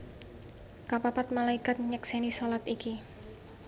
Kapapat Malaikat nyeksèni shalat iki